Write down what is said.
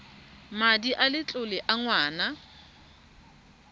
madi a letlole a ngwana